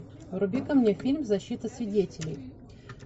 вруби ка мне фильм защита свидетелей